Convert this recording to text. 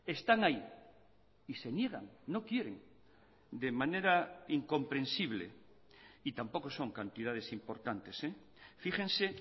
están ahí y se niegan no quieren de manera incomprensible y tampoco son cantidades importantes fíjense